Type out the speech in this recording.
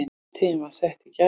Hátíðin var sett í gær